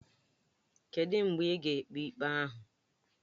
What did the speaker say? Kedụ mgbe a ga-ekpe ikpe ahụ?